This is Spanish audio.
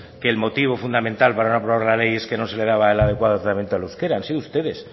que el motivo fundamental para no aprobar la ley es que no se le daba el adecuado establecimiento al euskera han sido ustedes